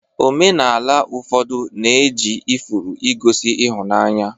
Omenala ụfọdụ na-eji ifuru egosi ịhụnanya